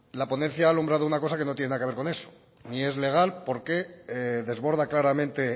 la ponencia ha alumbrado una cosa que no tiene nada que ver con esto ni es legal porque desborda claramente